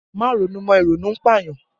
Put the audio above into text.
Má ronú mọ! Ìrònú ń pà yàn!